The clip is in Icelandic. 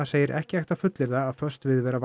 segir ekki hægt að fullyrða að föst viðvera